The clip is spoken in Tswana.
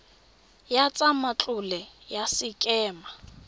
ya tsa matlole ya sekema